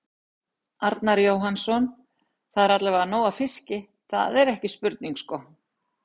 Arnar Jóhannsson: Það er allavega nóg af fiski, það, það er ekki spurning sko?